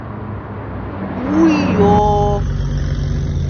уйо